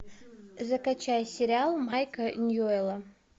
закачай сериал майка ньюэлла